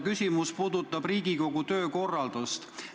Küsimus puudutab Riigikogu töökorraldust.